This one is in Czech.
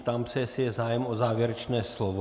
Ptám se, jestli je zájem o závěrečné slovo.